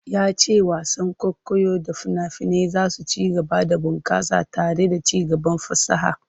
Ya ce wasan kwaikwayo da fina-finai za su ci gaba da bunkasa tare da ci gaban fasaha.